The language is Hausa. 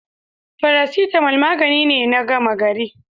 Faracetamal magani ne na gama gari.